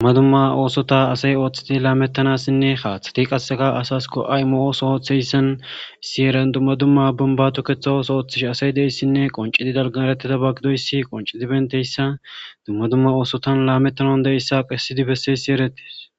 Dumma dumma osota asay othid lametanasinne hathet qase asa go'a imo issi heran dumma dumma bombata tometha otho othishe asay diyays gidoys qoncid etiyaysa dumma dumma osotan lametanaw danda'iyaysa besid besiyays eretes.